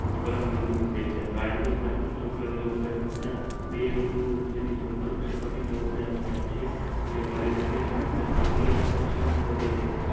પરમ બેઈંદુ છે કારણકે કાર્બન ની લબાય વથતા બે બીડું ની વચ્ચે પાથ માં વાથરો થાય છે પરિણામે અંતર વધે છે